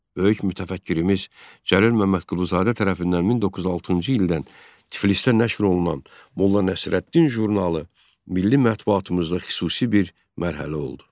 Böyük mütəfəkkirimiz Cəlil Məmmədquluzadə tərəfindən 1906-cı ildən Tiflisdə nəşr olunan "Molla Nəsrəddin" jurnalı milli mətbuatımızda xüsusi bir mərhələ oldu.